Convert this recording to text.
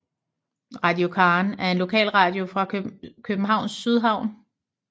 Radio Karen er en lokalradio fra Københavns Sydhavn